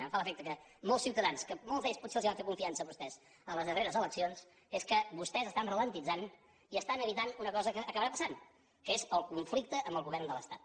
em fa l’efecte que molts ciutadans que molts d’ells potser els van fer confiança a vostès en les darreres eleccions és que vostès estan ralentitzantpassant que és el conflicte amb el govern de l’estat